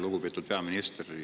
Lugupeetud peaminister!